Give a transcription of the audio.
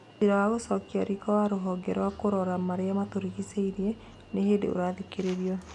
Ciira wa gũcokio riko wa rũhonge rwa kũrora marĩa matũrĩgicĩirie nĩ hĩndĩ ũrathikĩrĩrio.